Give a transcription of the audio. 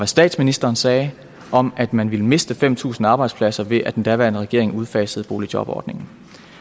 statsministeren sagde om at man ville miste fem tusind arbejdspladser ved at den daværende regering udfasede boligjobordningen